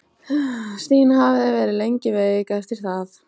Stína hafði verið lengi veik eftir það.